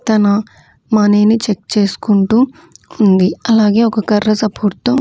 తను మనీని చెక్ చేస్కుంటూ ఉంది అలాగే ఒక కర్ర సపోర్ట్ తో --